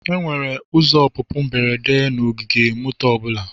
Enwere ụzọ ọpụpụ mberede na ogige moto ọ bụla.